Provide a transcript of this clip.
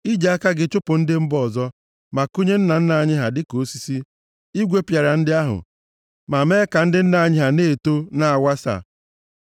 I ji aka gị chụpụ ndị mba ọzọ, ma kụnye nna nna anyị ha dịka osisi. I gwepịara ndị ahụ ma mee ka ndị nna anyị na-eto na-awasa.